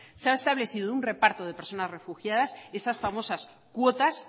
se ha establecido un reparto de personas refugiadas esas famosas cuotas